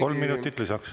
Kolm minutit lisaks.